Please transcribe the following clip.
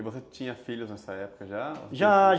E você tinha filhos nessa época já? Já.